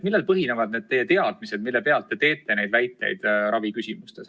Millel põhinevad teie teadmised, mille alusel te neid raviküsimustega seotud väiteid esitate?